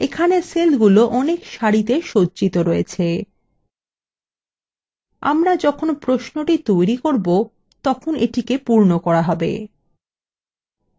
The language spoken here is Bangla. এখানে সেলগুলো অনেক সারিতে সজ্জিত রয়েছে আমরা যখন প্রশ্নটি তৈরী করব তখন এটিকে পূর্ণ করা হবে